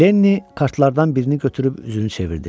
Lenni kartlardan birini götürüb üzünü çevirdi.